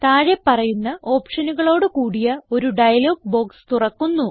താഴെ പറയുന്ന ഓപ്ഷനുകളോട് കൂടിയ ഒരു ഡയലോഗ് ബോക്സ് തുറക്കുന്നു